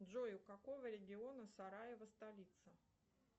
джой у какого региона сараево столица